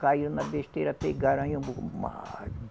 Caiu na besteira, pegaram aí